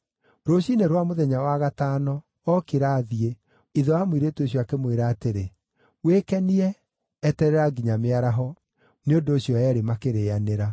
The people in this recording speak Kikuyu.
Rũciinĩ rwa mũthenya wa gatano, okĩra athiĩ, ithe wa mũirĩtu ũcio akĩmwĩra atĩrĩ, “Wĩkenie. Eterera nginya mĩaraho!” Nĩ ũndũ ũcio eerĩ makĩrĩanĩra.